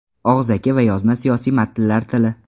Og‘zaki va yozma siyosiy matnlar tili.